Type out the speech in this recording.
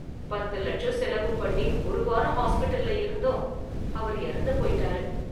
பத்து லட்சம் செலவு பண்ணி ஒரு வாரம் ஹாஸ்பிடல்ல இருந்தும் அவர் எறந்து போயிட்டாரு.